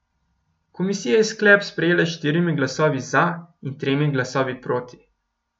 Komisija je sklep sprejela s štirimi glasovi za in tremi glasovi proti.